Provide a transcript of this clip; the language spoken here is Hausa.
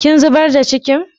Kin zubar da cikin?